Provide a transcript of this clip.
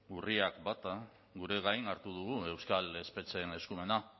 urriak bat gure gain hartu dugu euskal espetxeen eskumena